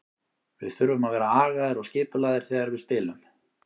Við þurfum að vera agaðir og skipulagðir þegar við spilum.